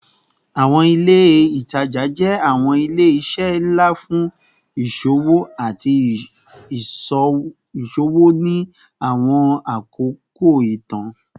Awọn ile itaja jẹ awọn ile-iṣẹ nla fun iṣowo ati iṣowo ni awọn akoko itan